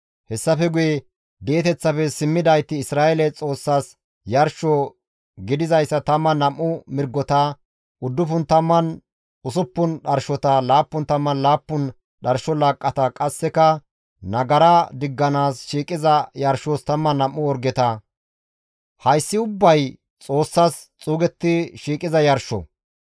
Hessafe guye di7eteththafe simmidayti Isra7eele Xoossas yarsho gidizayssa 12 mirgota, 96 dharshota, 77 dharsho laaqqata qasseka nagara digganaas shiiqiza yarshos 12 orgeta; hayssi ubbay Xoossas xuugetti shiiqiza yarsho.